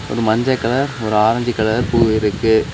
ஒரு மஞ்ச கலர் ஒரு ஆரஞ்சு கலர் பூ இருக்கு.